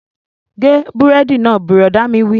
Gé búrẹ́dì náà! Bùrọ̀dá mi wí